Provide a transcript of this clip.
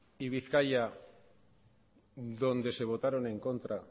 y bizkaia donde se votaron en contra